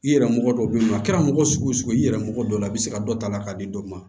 I yɛrɛ mɔgɔ dɔ bɛ yen nɔ a kɛra mɔgɔ sugu o sugu ye i yɛrɛ mɔgɔ dɔ la i bɛ se ka dɔ ta a la k'a di dɔ ma